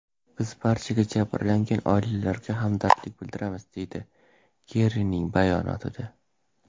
Biz barcha jabrlangan oilalarga hamdardlik bildiramiz”, deyiladi Kerrining bayonotida.